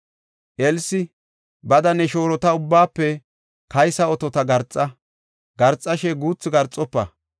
Elsi, “Bada ne shoorota ubbaafe kaysa otota garxa. Garxashe guuthu garxofa.